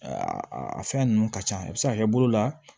a fɛn ninnu ka ca i bi se ka kɛ bolo la